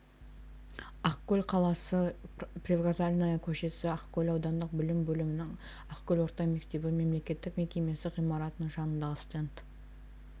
ақкөл қаласы привокзальная көшесі ақкөл аудандық білім бөлімінің ақкөл орта мектебі мемлекеттік мекемесі ғимаратының жанындағы стенд